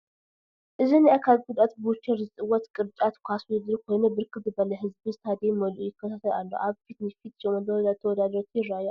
እዚ ናይ አካል ጉደኣት ብዊልቸር ዝፅወት ቅርጫት ኳስ ውድድር ኮይኑ ብርክት ዝበለ ህዝቢ ስታዴም መሊኡ ይከታተል አሎ፡፡ አብ ፊት ንፊት 8 ተወዳደርቲ ይረአዩ አለዉ፡፡